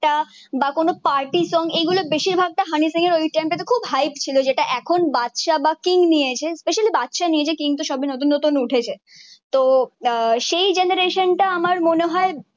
টা বা কোনো পার্টি সঙ্গ এই গুলো বেশির ভাগটা হানি সিং এর ওই টাইম টা খুব হাইপ ছিল যেটা এখন বাদশা বা কিং নিয়েছে স্পেশালি বাদশা নিয়েছে কিন্তু সব ই নতুন নতুন উঠেছে তো আহ সেই জেনারেশন টা আমার মনে হয়ে